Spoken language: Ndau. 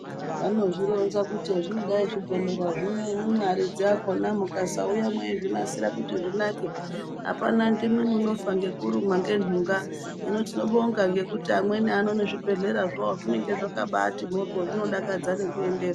Vanozvironza kuti hezvinodai zvibhedhlera zvino imwimwi aridzi akhona mukasauya mweizvinasira kuti zvinake apana ndimwi munofa ngekurumwa ngentunga hino tinobonga ngekuti amweni ano zvibhedhlera zvawo zvinenga zvakabaati moryo zvinodakadza nekuendera.